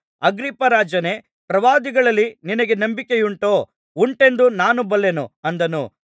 ಅಗ್ರಿಪ್ಪರಾಜನೇ ಪ್ರವಾದಿಗಳಲ್ಲಿ ನಿನಗೆ ನಂಬಿಕೆಯುಂಟೋ ಉಂಟೆಂದು ನಾನು ಬಲ್ಲೆನು ಅಂದನು